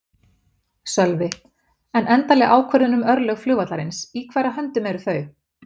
Sölvi: En endanleg ákvörðun um örlög flugvallarins, í hverra höndum eru þau?